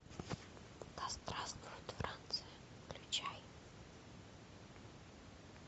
да здравствует франция включай